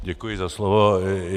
Děkuji za slovo.